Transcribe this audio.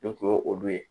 Ne kun ye olu ye